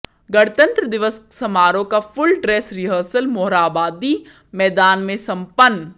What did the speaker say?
गणतंत्र दिवस समारोह का फुल ड्रेस रिहर्सल मोरहाबादी मैदान में संपन्न